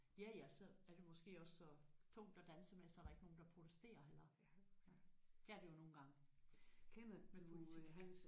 Ja ja. Så er det måske også så tungt at danse med så der ikke er nogen der protesterer eller? Det er det jo nogle gange med politik